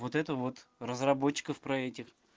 вот это вот разработчиков про этих